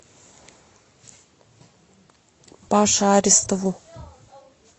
паше аристову